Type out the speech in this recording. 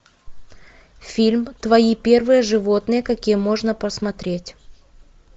фильм твои первые животные какие можно посмотреть